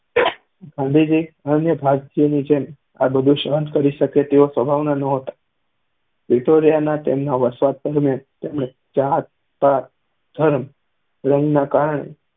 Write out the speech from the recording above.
ગાંધીજી અન્ય ભારતીયની જેમ આ બધું સહન કરી શકે તેવા સ્વભાવના નહોતા. પ્રિટોરિયાના તેમના વસવાટ દરમ્યાન તેમણે જાત-પાત, ધર્મ, રંગના કારણે